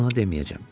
Ona deməyəcəm.